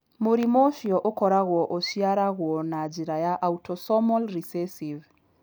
Mũrimũ ũcio ũkoragwo ũciaragwo na njĩra ya autosomal recessive.